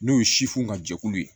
N'o ye ka jɛkulu ye